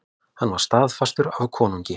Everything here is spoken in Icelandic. Hann var staðfestur af konungi.